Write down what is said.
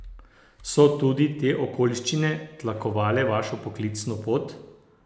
So tudi te okoliščine tlakovale vašo poklicno pot?